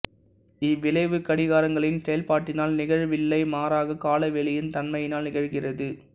இவ்விளைவு கடிகாரங்களின் செயல்பாட்டினால் நிகழவில்லை மாறாக காலவெளியின் தன்மையினால் நிகழ்கிறது